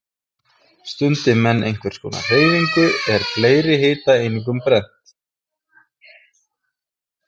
Stundi menn einhvers konar hreyfingu er fleiri hitaeiningum brennt.